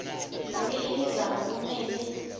yonkhe imizamo kumele